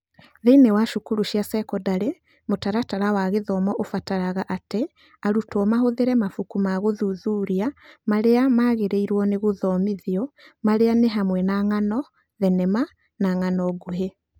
Thĩinĩ wa cukuru cia sekondarĩ, mũtaratara wa gĩthomo ũbataraga atĩ arutwo mahũthĩre mabuku ma gũthuthuria marĩa magĩrĩirwo nĩ gũthomithio, marĩa nĩ hamwe na ng'ano, thenema na ng'ano nguhĩ.